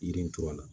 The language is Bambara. Yiri in tora a la